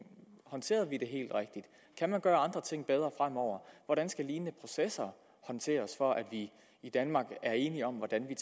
håndterede vi det helt rigtigt kan man gøre andre ting bedre fremover hvordan skal lignende processer håndteres for at vi i danmark er enige om hvordan vi